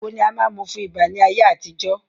Àgbo ni a máa n mú fún ibà ni ayé àtijọ́